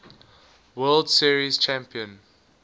world series champion